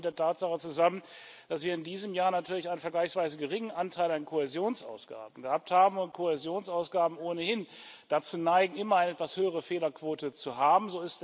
Das hängt auch mit der Tatsache zusammen, dass wir in diesem Jahr natürlich einen vergleichsweise geringen Anteil an Kohäsionsausgaben gehabt haben und Kohäsionsausgaben ohnehin dazu neigen, immer eine etwas höhere Fehlerquote zu haben.